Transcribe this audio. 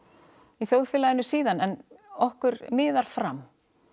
þjóðfélaginu síðan en okkur miðar fram